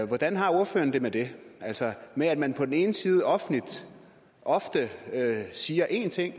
hvordan har ordføreren det med det altså med at man på den ene side offentligt ofte siger én ting